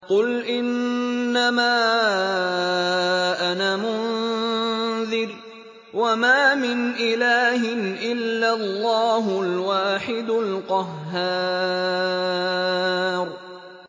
قُلْ إِنَّمَا أَنَا مُنذِرٌ ۖ وَمَا مِنْ إِلَٰهٍ إِلَّا اللَّهُ الْوَاحِدُ الْقَهَّارُ